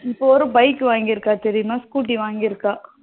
இப்போ ஒரு bike வாங்கி இருக்கா தெரியுமா? scooter வாங்கி இருக்கா.